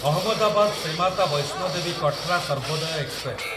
Ahmedabad Shri Mata Vaishno Devi Katra Sarvodaya express